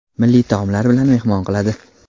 milliy taomlari bilan mehmon qiladi.